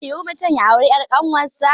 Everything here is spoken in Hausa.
Zai yiwu mutum ya auri ƴar kawun sa